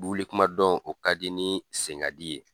Wuli kuma dɔn o ka di ni senkadi ye.